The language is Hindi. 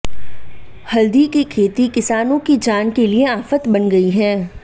हल्दी की खेती किसानों की जान के लिए आफत बन गई है